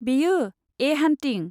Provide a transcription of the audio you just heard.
बेयो, 'ए हान्टिं'।